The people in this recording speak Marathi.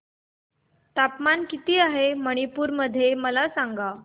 तापमान किती आहे मणिपुर मध्ये मला सांगा